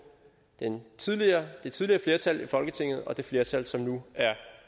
det tidligere det tidligere flertal i folketinget og det flertal som nu er